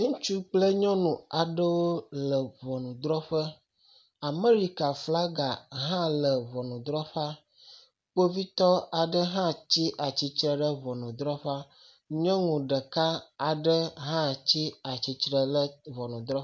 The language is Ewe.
Ŋutsu kple nyɔnu aɖewo le ŋɔnudzrɔƒe. Amerika flaga hã le ŋɔnudzrɔƒea. Kpovitɔ aɖe hã tsi atsitre ɖe ŋɔnudzrɔƒea. Nyɔnu ɖeka aɖe hã tsi atsitre ɖe ŋɔnudzrɔƒea.